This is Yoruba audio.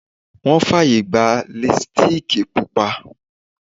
Wọn fàyè gba Lipstíìkì Pupa